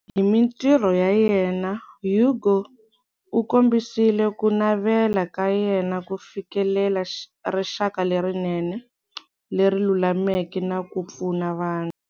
Hi mintirho ya yena, Hugo u kombisile ku navela ka yena ku fikelela rixaka lerinene, leri lulameke na ku pfuna vanhu.